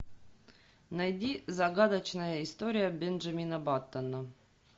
найди загадочная история бенджамина баттона